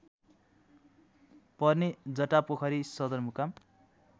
पर्ने जटापोखरी सदरमुकाम